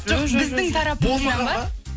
жоқ біздің тарапымыздан ба